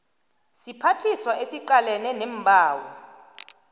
siphathiswa esiqalene neembawo